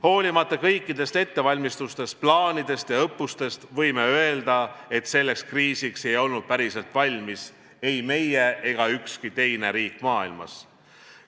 Hoolimata kõikidest ettevalmistustest, plaanidest ja õppustest, võime öelda, et selleks kriisiks ei olnud päriselt valmis ei meie ega ükski teine riik maailmas.